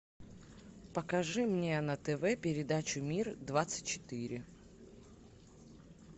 покажи мне на тв передачу мир двадцать четыре